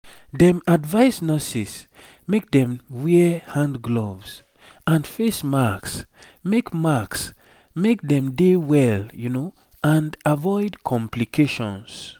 dem advise nurses make dem wear hand gloves and face masks make masks make dem dey well and avoid complications